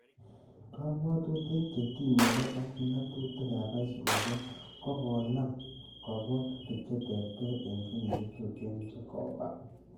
Kobwotutik che tinye ge ak ng'atutikab aisurusiek ko konaam kobwotik che terter en kenyisiek tuten chekoba.